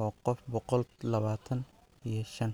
oo qof bogool labatan iyo shan.